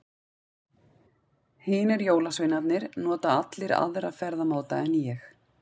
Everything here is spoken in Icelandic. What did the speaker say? Hinir jólasveinarnir nota allir aðra ferðamáta en ég.